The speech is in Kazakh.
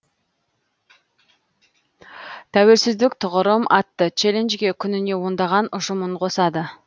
тәуелсіздік тұғырым атты челленжге күніне ондаған ұжым үн қосады